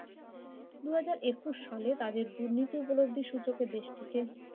দুই হাজার একুশ সালে তাদের দুর্নীতি উপলব্ধি সূচকে দেশটিকে